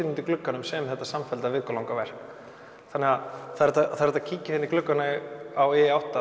glugganum sem þetta samfellda vikulanga verk þannig að það er hægt að kíkja hérna í gluggann á i átta